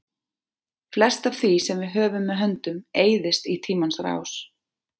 Flest af því sem við höfum með höndum eyðist í tímans rás.